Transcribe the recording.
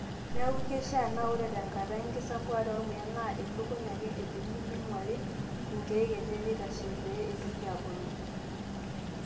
Neeku keishaa naa ore tenkata enkisampuare ormuya, naa ilukuny ake edung'uni neing'uari inkeek enye eitashe pee eitoki aabulu.